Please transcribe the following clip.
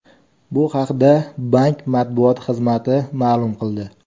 Bu haqda bank matbuot xizmati ma’lum qildi.